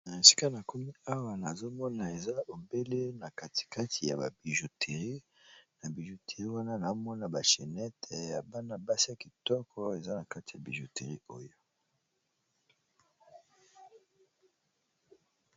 Na esika na kumi awa nazomona eza ebele na katikati ya babijotirie, na bijoterie wana namona bachenete ya bana-basia kitoko eza na kati ya bijoterie oyo.